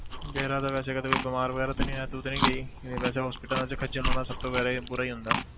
ਤੇਰਾ ਤਾਂ ਵੈਸੇ ਕਦੇ ਕੋਈ ਬਿਮਾਰ ਵਗ਼ੈਰਾ ਤਾਂ ਨੀ ਹੋਇਆ ਤੂੰ ਤੇ ਨੀ ਗਈ ਵੈਸੇ hospitals 'ਚ ਖੱਝਲ ਹੋਣਾ ਸਭ ਬੁਰਾ ਬੁਰਾ ਹੀ ਹੁੰਦਾ।